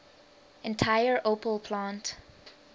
entire opel plant